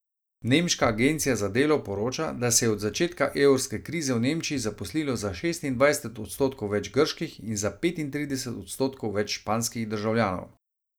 Nemška agencija za delo poroča, da se je od začetka evrske krize v Nemčiji zaposlilo za šestindvajset odstotkov več grških in za petintrideset odstotkov več španskih državljanov.